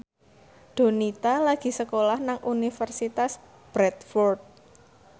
Donita lagi sekolah nang Universitas Bradford